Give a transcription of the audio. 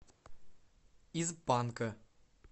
из панка